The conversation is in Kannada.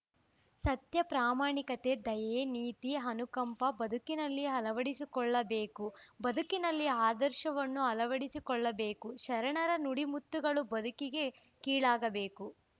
ಸತ್ಯ ಪ್ರಾಮಾಣಿಕತೆ ದಯೆ ನೀತಿ ಅನುಕಂಪ ಬದುಕಿನಲ್ಲಿ ಅಳವಡಿಸಿಕೊಳ್ಳಬೇಕು ಬದುಕಿನಲ್ಲಿ ಆದರ್ಶವನ್ನು ಅಳವಡಿಸಿಕೊಳ್ಳಬೇಕು ಶರಣರ ನುಡಿಮುತ್ತುಗಳು ಬದುಕಿಗೆ ಕೀಲಾಗಬೇಕು